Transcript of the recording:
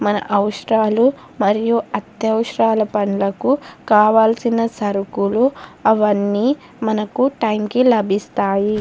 మన అవసరాలు మరియు అత్యవసరాలు పనులకు కావలిసిన సరుకులు అవన్నీ మనకి టైం కి లబిస్థాయి.